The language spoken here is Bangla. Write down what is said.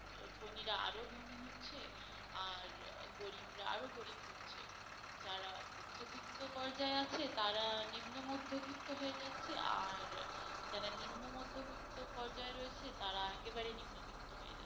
ধনীরা আরো ধনী হচ্ছে আর গরিবরা আরো গরিব হচ্ছে যারা মধ্যবিত্ত পর্যায়ে আছে তারা নিম্ন মধ্যবিত্ত হয়ে যাচ্ছে আর যারা নিম্ন মধ্যবিত্ত পর্যায়ে রয়েছে তারা একেবারে নিম্নবিত্ত হয়ে যাবে